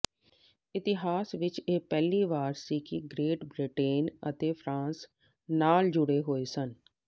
ਇਤਿਹਾਸ ਵਿਚ ਇਹ ਪਹਿਲੀ ਵਾਰ ਸੀ ਕਿ ਗ੍ਰੇਟ ਬ੍ਰਿਟੇਨ ਅਤੇ ਫਰਾਂਸ ਨਾਲ ਜੁੜੇ ਹੋਏ ਸਨ